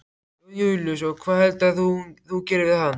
Jón Júlíus: Og hvað heldurðu að þú gerir við hann?